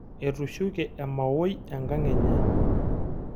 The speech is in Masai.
Etushuke emaoi enkang enye.